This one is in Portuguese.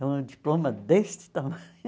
Um diploma deste tamanho.